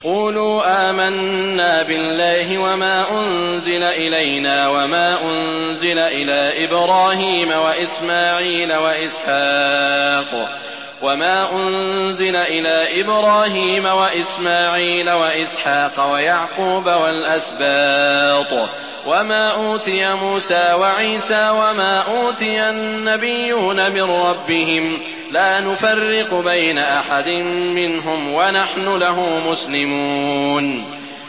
قُولُوا آمَنَّا بِاللَّهِ وَمَا أُنزِلَ إِلَيْنَا وَمَا أُنزِلَ إِلَىٰ إِبْرَاهِيمَ وَإِسْمَاعِيلَ وَإِسْحَاقَ وَيَعْقُوبَ وَالْأَسْبَاطِ وَمَا أُوتِيَ مُوسَىٰ وَعِيسَىٰ وَمَا أُوتِيَ النَّبِيُّونَ مِن رَّبِّهِمْ لَا نُفَرِّقُ بَيْنَ أَحَدٍ مِّنْهُمْ وَنَحْنُ لَهُ مُسْلِمُونَ